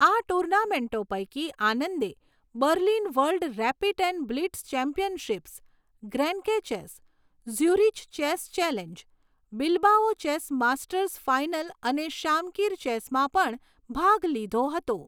આ ટુર્નામેન્ટો પૈકી, આનંદે Berlin world rapid and blitz championships, Grenke chess, Zurich chess challenge, Bilbao chess masters final અને શામકિર ચેસમાં પણ ભાગ લીધો હતો.